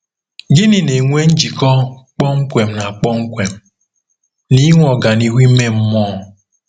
Gịnị na-enwe njikọ kpọmkwem na kpọmkwem na inwe ọganihu ime mmụọ?